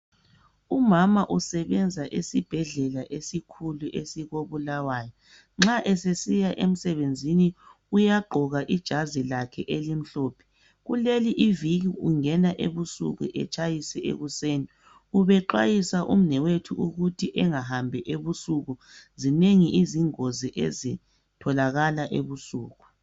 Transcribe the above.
Umama usebenza esibhedlela esikhulu esiko Bulawayo .Nxa esesiya emsebenzini uyaygqoka ijazi lakhe elimhlophe Kuleli iviki ungena ebusuku etshayise ekuseni .Ubexwayisa umnewethu ukuthi engahambi ebusuku .Zinengi izingozi ezitholakala ebusuku .